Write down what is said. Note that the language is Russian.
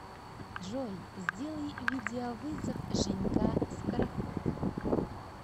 джой сделай видеовызов женька скороход